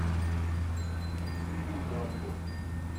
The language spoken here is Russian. фильм дамбо